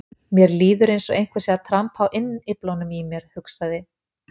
Mér líður eins og einhver sé að trampa á innyflunum í mér, hugsaði